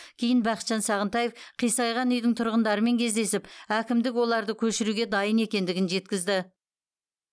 кейін бақытжан сағынтаев қисайған үйдің тұрғындарымен кездесіп әкімдік оларды көшіруге дайын екендігін жеткізді